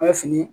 A bɛ fini